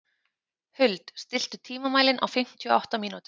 Huld, stilltu tímamælinn á fimmtíu og átta mínútur.